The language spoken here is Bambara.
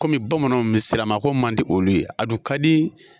Kɔmi bamananw misiri na ko man di olu ye a dun ka di